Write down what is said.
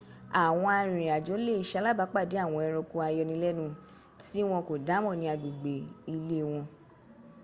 àwọn arìnrìnàjò lè salábàápàdé àwọn ẹranko ayọnilẹ́nu tí wọn kò dámọ̀ ní agbègbè ilé wọn